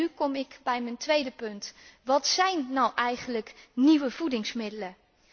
Nu kom ik bij mijn tweede punt wat zijn nou eigenlijk nieuwe voedingsmiddelen?